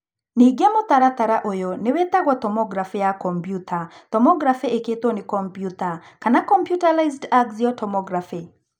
Ningĩ mũtaratara ũyũ nĩ wĩtagwo tomography ya kombyuta, tomography ĩkĩtwo nĩ kombyuta kana computerized axial tomography.